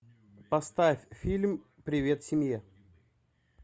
поставь фильм привет семье